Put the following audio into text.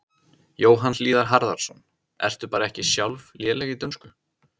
Jóhann Hlíðar Harðarson: Ertu bara ekki sjálf léleg í dönsku?